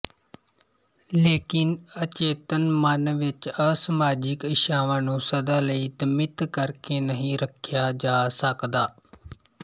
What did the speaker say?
ਲੇਕਿਨ ਅਚੇਤਨ ਮਨ ਵਿੱਚ ਅਸਮਾਜਿਕ ਇੱਛਾਵਾਂ ਨੂੰ ਸਦਾ ਲਈ ਦਮਿਤ ਕਰਕੇ ਨਹੀਂ ਰੱਖਿਆ ਜਾ ਸਕਦਾ